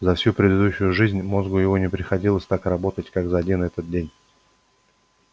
за всю предыдущую жизнь мозгу его не приходилось так работать как за один этот день